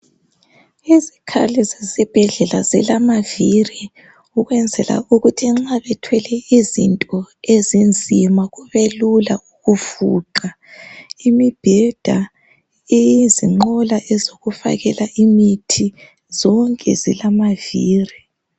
Izikhali zesibhedlela zilamavili ukwenzela ukuthi nxa bethwele izinto ezinzima kubelula ukufuqa imibheda izinqola ezokufakela imithi zonke zilamavili.